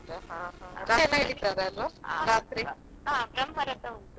ಹಾ ಹೌದಾ ರಥ ಎಲ್ಲಾ ಏಳಿತಾರಾ ಅಲ್ಲಿ ?